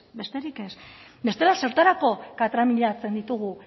besterik ez bestela zertarako katramilatzen ditugu